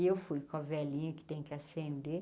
E eu fui com a velinha que tem que acender.